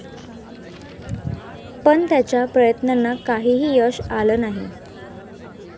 पण त्याच्या प्रयत्नांना काहीही यश आलं नाही.